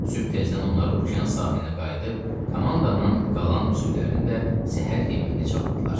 Sübh tezdən onlar Okean sahilinə qayıdıb komandanın qalan üzvlərini də səhər yeməyinə çağırdılar.